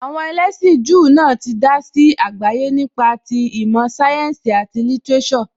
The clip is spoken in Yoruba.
Àwọn ẹlẹ́sìn Júù náà tí dá sí àgbáyé nípa ti ìmọ̀ sáyẹ́ǹsì, àti lítíréṣọ̀.